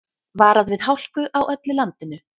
Varað við hálku á öllu landinu